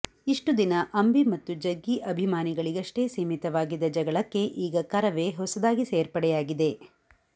ಇಷ್ಟು ದಿನ ಅಂಬಿ ಮತ್ತು ಜಗ್ಗಿ ಅಭಿಮಾನಿಗಳಿಗಷ್ಟೇ ಸೀಮಿತವಾಗಿದ್ದ ಜಗಳಕ್ಕೆ ಈಗ ಕರವೇ ಹೊಸದಾಗಿ ಸೇರ್ಪಡೆಯಾಗಿದೆ